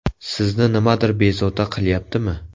Sizni nimadir bezovta qilyaptimi?